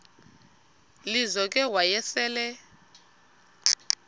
lizo ke wayesel